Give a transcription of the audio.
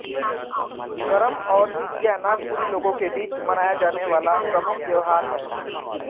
करम और जितिया नागपुरी लोगों के बीच मनाया जाने वाला प्रमुख त्योहार है